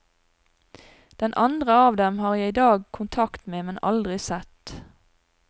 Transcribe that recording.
Den andre av dem har jeg i dag kontakt med, men aldri sett.